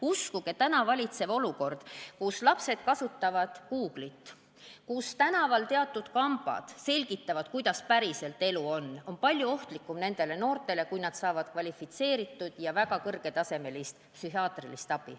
Uskuge, täna valitsev olukord, kus lapsed kasutavad Google'it ja tänaval teatud kambad selgitavad, kuidas päriselt elu käib, on noortele palju ohtlikum kui see, et nad saavad kvalifitseeritud ja väga kõrgetasemelist psühhiaatrilist abi.